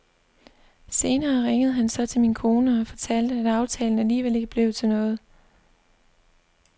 Senere ringede han så til min kone og fortalte, at aftalen alligevel ikke blev til noget.